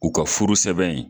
U ka furu sɛbɛn in